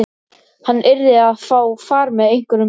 Lystisnekkjan var lengra úti fyrir en honum hafði sýnst.